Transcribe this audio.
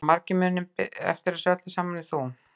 Heldurðu að margir muni betur eftir þessu öllu saman en þú?